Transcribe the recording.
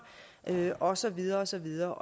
og så videre og så videre